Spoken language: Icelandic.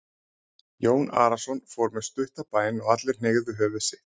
Jón Arason fór með stutta bæn og allir hneigðu höfuð sitt.